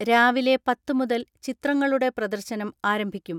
രാവിലെ പത്ത് മുതൽ ചിത്രങ്ങളുടെ പ്രദർശനം ആരംഭിക്കും.